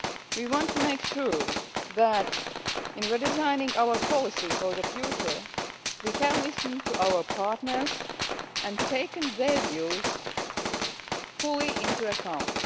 We want to make sure that in redesigning our policy for the future we have listened to our partners and taken their views fully into account.